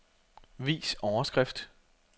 Vis overskrift.